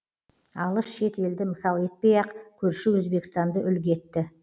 алыс шет елді мысал етпей ақ көрші өзбекстанды үлгі етті